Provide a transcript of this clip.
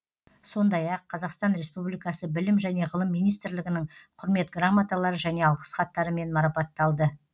сондай ақ қазақстан республикасы білім және ғылым министрлігінің құрмет грамоталары және алғыс хаттарымен марапатталды